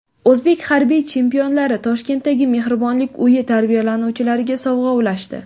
O‘zbek harbiy chempionlari Toshkentdagi mehribonlik uyi tarbiyalanuvchilariga sovg‘a ulashdi .